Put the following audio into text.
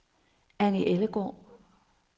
Anni Ellegaard